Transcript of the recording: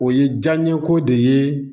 O ye jaa ɲɛko de ye